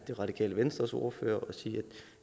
det radikale venstres ordfører sige at